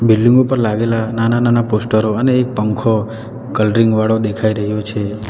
Building ઉપર લાગેલા નાના-નાના પોસ્ટરો અને એક પંખો કલરીંગ વાળો દેખાઈ રહ્યો છે.